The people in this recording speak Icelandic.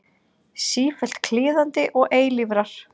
Sífellt kliðandi og eilífrar.